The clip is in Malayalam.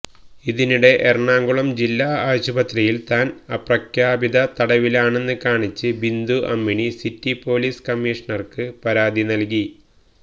അതിനിടെ എറണാകുളം ജില്ലാ ആശുപത്രിയിൽ താൻ അപ്രഖ്യാപിത തടവിലാണെന്ന് കാണിച്ച് ബിന്ദു അമ്മിണി സിറ്റി പൊലീസ് കമ്മീഷണർക്ക് പരാതി നൽകി